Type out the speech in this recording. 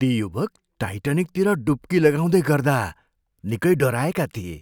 ती युवक टाइटानिकतिर डुब्की लगाउँदै गर्दा निकै डराएका थिए।